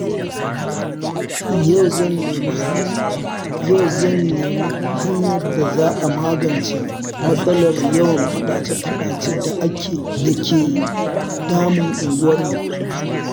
Yau zan nemi hanyar da za a magance matsalar yawan faɗace-faɗace da ke damun unguwarmu.